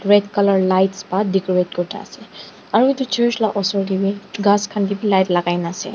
red colour lights para decorate kurikena ase aro utu church la osor te bi ghas khan kebi light lakaikena ase.